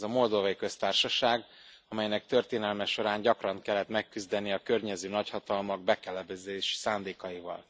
Ez a Moldovai Köztársaság, amelynek történelme során gyakran kellett megküzdenie a környező nagyhatalmak bekebelezési szándékaival.